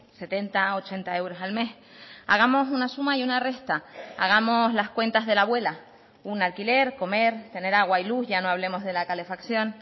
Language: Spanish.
setenta ochenta euros al mes hagamos una suma y una resta hagamos las cuentas de la abuela un alquiler comer tener agua y luz ya no hablemos de la calefacción